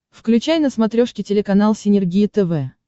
включай на смотрешке телеканал синергия тв